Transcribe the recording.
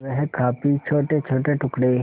वह काफी छोटेछोटे टुकड़े